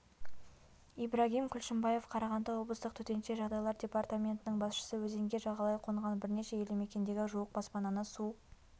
ибрагим күлшімбаев қарағанды облыстық төтенше жағдайлар департаментінің басшысы өзенге жағалай қонған бірнеше елдімекендегі жуық баспананы су